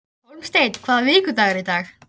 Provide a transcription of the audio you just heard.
Hólmsteinn, hvaða vikudagur er í dag?